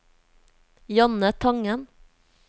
Janne Tangen